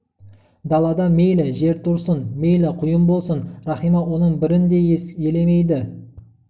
далада мейлі жел тұрсын мейлі құйын болсын рахима оның бірін де елемейді